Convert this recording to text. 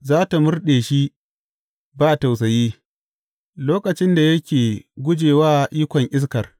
Za tă murɗe shi ba tausayi, lokacin da yake guje wa ikon iskar.